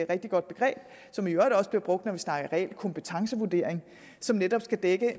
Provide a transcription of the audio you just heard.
rigtig godt begreb som i øvrigt også bliver brugt når vi snakker reel kompetencevurdering som netop skal dække